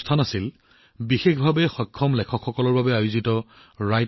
তেনে এক অনুষ্ঠান আছিল দিব্যাংগ সাহিত্যিকসকলৰ বাবে লেখক লগৰ আয়োজন